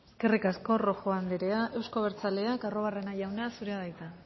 eskerrik asko rojo andrea euzko abertzaleak arruabarrena jauna zurea da hitza